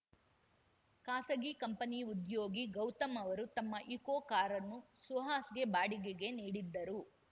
ಖಾಸಗಿ ಕಂಪನಿ ಉದ್ಯೋಗಿ ಗೌತಮ್‌ ಅವರು ತಮ್ಮ ಇಕೋ ಕಾರನ್ನು ಸುಹಾಸ್‌ಗೆ ಬಾಡಿಗೆಗೆ ನೀಡಿದ್ದರು